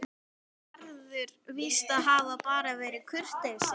En það telur Gerður víst að hafi bara verið kurteisi.